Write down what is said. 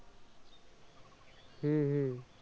হম হম।